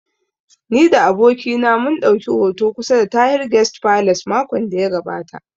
Ni da abokina mun ɗauki hoto kusa da Tahir guest palace makon da ya gabata